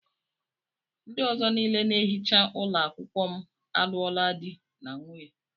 Ndị ọzọ niile na-ehicha ụlọ akwụkwọ m alụọla di na nwunye.